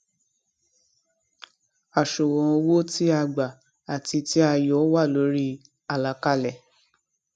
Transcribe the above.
àṣùwòn owó tí a gbà àti tí a yọ wà lórí àlàkalẹ